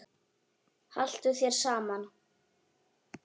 Haltu þér saman